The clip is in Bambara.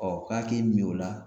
Ɔ k'a k'e min o la